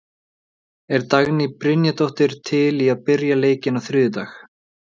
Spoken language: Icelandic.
Er Dagný Brynjarsdóttir til í að byrja leikinn á þriðjudag?